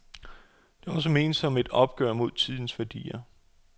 Det er også ment som et opgør med tidens værdier.